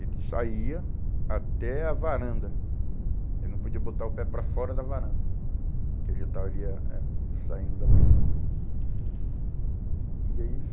Ele saía até a varanda, ele não podia botar o pé para fora da varanda, porque ele já estaria, é, saindo da prisão. E aí